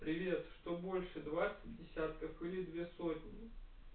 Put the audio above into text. привет что больше двадцать десятков или две сотни